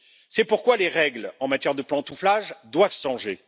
C'est pourquoi les règles en matière de pantouflage doivent changer.